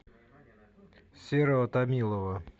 серого томилова